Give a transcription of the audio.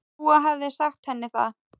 Dúa hefði sagt henni það.